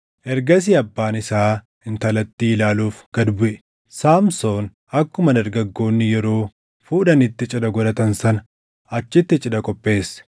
Ergasii abbaan isaa intalattii ilaaluuf gad buʼe; Saamsoon akkuma dargaggoonni yeroo fuudhanitti cidha godhatan sana achitti cidha qopheesse.